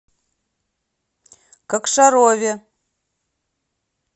кокшарове